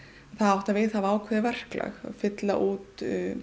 það átti að viðhafa ákveðið verklag fylla út